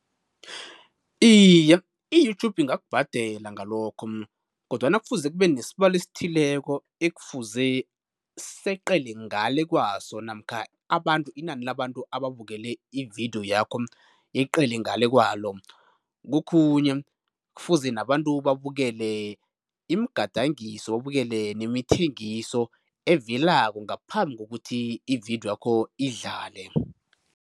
Iye, i-YouTube ingakubhadela ngalokho kodwana kufuze kube nesibalo esithileko ekufuze seqele ngale kwaso namkha abantu, inani labantu ababukele ividiyo yakho yeqele ngale kwalo, kokhunye kufuze nabantu babukele imigadangiso babukele nemithengiso evelako ngaphambi kokuthi ividiyo yakho idlale.